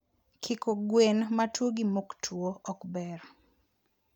kiko gwen matuo gi moktwuo okber.